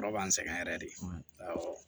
Yɔrɔ b'an sɛgɛn yɛrɛ de